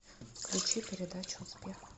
включи передачу успех